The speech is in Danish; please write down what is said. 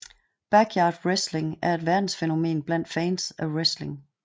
Backyard Wrestling er et verdensfænomen blandt fans af wrestling